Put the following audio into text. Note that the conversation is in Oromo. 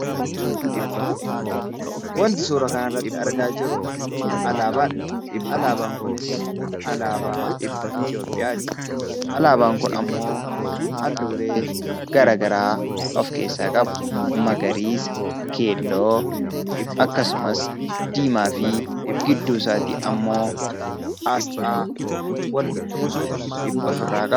Wanti suura kana irratti argaa jirru alaabaadha. Alaabaan Kunis alaabaa Itoophiyaati. Alaabaan Kun halluuwwan garagaraa of keessaa qaba innis magariisa, keelloo fi diimaadha. Gidduu isaarraa immoo asxaa walqixxummaa agarsiisa.